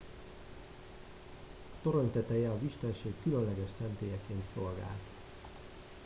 a torony teteje az istenség különleges szentélyeként szolgált